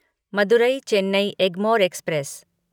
Madurai Chennai Egmore express